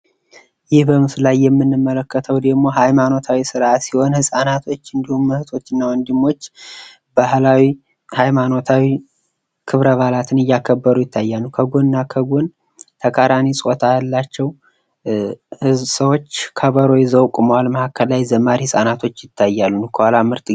ይህ በምስሉ ላይ የምንመለከተው ደሞ ሃይማኖታዊ ስርኣት ሲሆን ህጻናቶች እንዲሁም እህቶች እና ወንድሞች ባህላዊ ፣ ሃይማኖታዊ ክብረ በአላትን እያከበሩ ይገኛሉ፡፡ ከ ጎን እና ከ ጎን ተቃራኒ ጾታ ያላቸው ከበሮ ይዘው ቆመዋል ፤ መሃከል ላይ ዘማሪ ህጻናቶችህ ይታያሉ፡፡